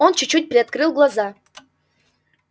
он чуть-чуть приоткрыл глаза